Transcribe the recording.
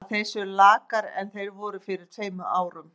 Ég tel að þeir séu lakari en þeir voru fyrir tveimur árum.